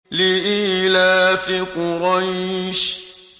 لِإِيلَافِ قُرَيْشٍ